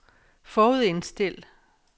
forudindstil